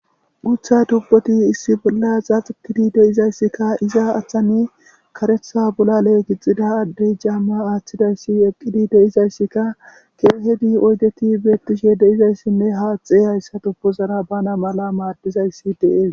Gutha tubpoti issi bolla xa xikidi deizayssikka iza aththani karetha bola leegixida addey jaamma aaththidayssi eqqidi deizayssikka keehedi oygeti beettishe deizayssinne haaxe hayssa tubozara bana mala maadizayssi deees.